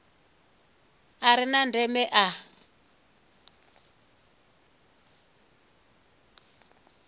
a re na ndeme a